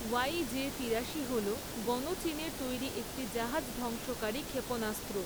ওয়াইজে তিরাশি হলো গণচীনের তৈরি একটি জাহাজ ধ্বংসকারী ক্ষেপণাস্ত্র।